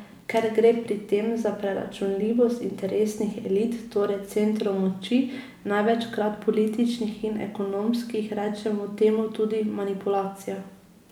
Ker gre pri tem za preračunljivost interesnih elit, torej centrov moči, največkrat političnih in ekonomskih, rečemo temu tudi manipulacija.